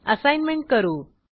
assignment करू